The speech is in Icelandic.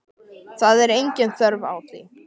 Það er engin þörf á því.